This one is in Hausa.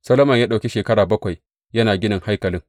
Solomon ya ɗauki shekara bakwai yana ginin haikalin.